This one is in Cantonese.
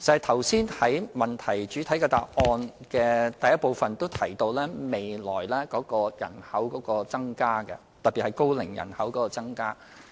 剛才主體答覆第一部分亦指出未來人口會增加，特別是高齡人口。